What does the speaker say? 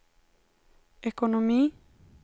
ekonomi